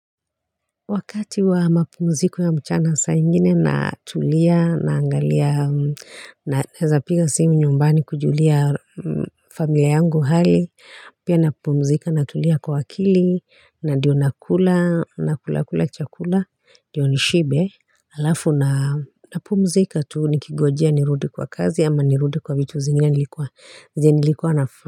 Wakati wa mapumziko ya mchana saa ingine natulia naangalia naweza piga simu nyumbani kujulia familia yangu hali pia napumzika na tulia kwa akili na ndiyo nakula na kulakula chakula ndiyo nishibe alafu na napumzika tu nikingojea nirudi kwa kazi ama nirudi kwa vitu zingine nilikuwa zingine nilikuwa nafa.